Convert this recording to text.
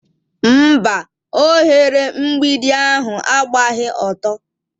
Mba, oghere mgbidi ahụ agbaghi ọtọ.